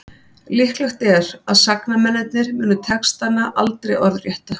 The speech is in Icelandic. líklegt er að sagnamennirnir muni textana aldrei orðrétta